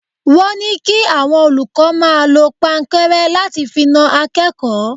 Wọ́n ní kí àwọn olùkọ́ máa lọ pankẹ́rẹ́ láti fi na akẹ́kọ̀ọ́.